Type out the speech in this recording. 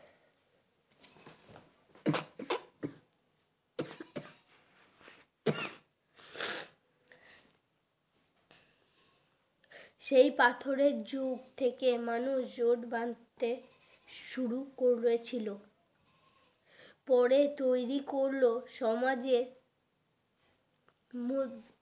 সেই পাথরের যুগ থেকে মানুষ জোট বাঁধতে শুরু করে ছিল পরে তৈরী করলো সমাজের মদ